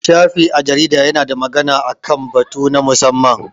Shafi a jarida ya na magana a kan batu na musamman